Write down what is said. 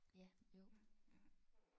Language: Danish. Ja jo